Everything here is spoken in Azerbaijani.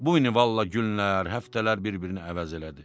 Bu yəni vallah günlər, həftələr bir-birini əvəz elədi.